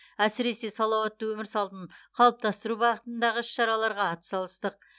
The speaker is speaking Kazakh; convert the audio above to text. әсіресе салауатты өмір салтын қалыптастыру бағытындағы іс шараларға ат салыстық